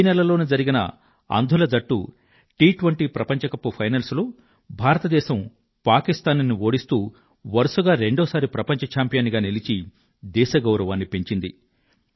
ఈ నెలలోనే జరిగిన అంధుల జట్టు టి20 ప్రపంచ కప్ ఫైనల్స్ లో భారత దేశం పాకిస్తాన్ ను ఓడిస్తూ వరుసగా రెండో సారి ప్రపంచ ఛాంపియన్ గా నిలిచి దేశ గౌరవాన్ని పెంచింది